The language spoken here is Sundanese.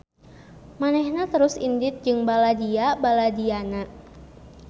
Manehna terus indit jeung baladia-baladiana.